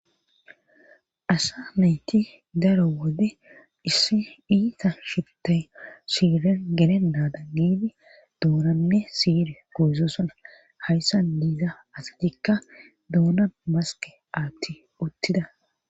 Asa mayti daro wode issi iita shittay siiren gelennadan giidi duunanne siir gozosona hayssa diiza asitikka duuna maske aatti uttida.